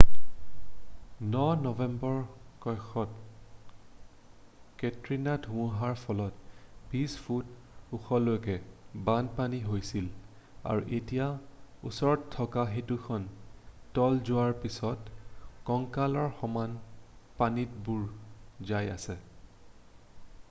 ন নম্বৰ কক্ষত কেটৰিনা ধুমুহাৰ ফলত 20 ফুট ওখলৈকে বানপানী হৈছিল আৰু এতিয়া ওচৰত থকা সেতুখন তল যোৱাৰ পিছত কঁকালৰ সমান পানীত বুৰ যাই আছে